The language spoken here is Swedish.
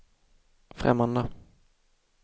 främmande